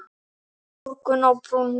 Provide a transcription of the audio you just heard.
Morgunn á brúnni